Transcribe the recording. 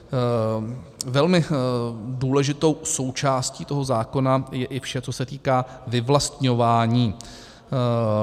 Velmi důležitou součástí toho zákona je i vše, co se týká vyvlastňování.